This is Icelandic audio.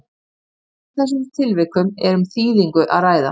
í öllum þessum tilvikum er um þýðingu að ræða